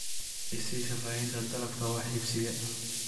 i sii faahfaahinta dalabka wax iibsiga